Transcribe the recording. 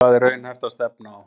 Hvað er raunhæft að stefna á?